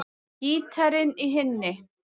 Gítarinn í hinni.